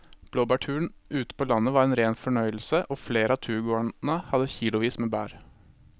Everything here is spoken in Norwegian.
Blåbærturen ute på landet var en rein fornøyelse og flere av turgåerene hadde kilosvis med bær.